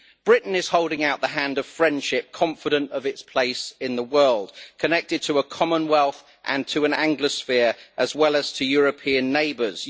Britain is holding out the hand of friendship, confident of its place in the world, connected to a Commonwealth and to an Anglosphere, as well as to European neighbours.